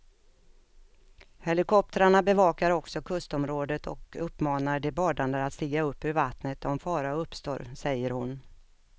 Helikoptrarna bevakar också kustområdet och uppmanar de badande att stiga upp ur vattnet om fara uppstår, säger hon.